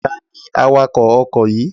Ta ni awakọ̀ ọkọ̀ yìí?